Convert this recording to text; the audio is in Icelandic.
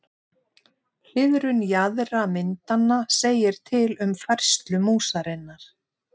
Hliðrun jaðra myndanna segir til um færslu músarinnar.